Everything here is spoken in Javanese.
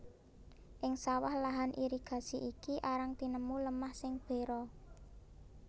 Ing sawah lahan irigasi iki arang tinemu lemah sing bera